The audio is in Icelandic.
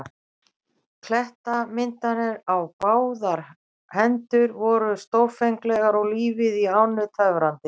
Klettamyndanir á báðar hendur voru stórfenglegar og lífið í ánni töfrandi.